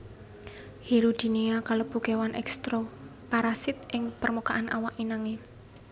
Hirudinea kalebu kéwan ektoparasit ing permukaan awak inangé